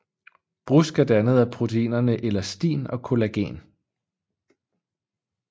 Brusk er dannet af proteinerne elastin og collagen